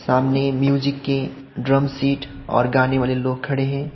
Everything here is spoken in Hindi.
सामने म्यूजिक के ड्रम शीट और गाने वाले लोग खड़े हैं।